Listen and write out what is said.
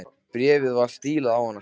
Bréfið var stílað á hann sjálfan.